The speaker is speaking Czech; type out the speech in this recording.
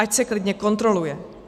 Ať se klidně kontroluje.